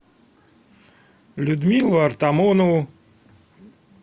людмилу артамонову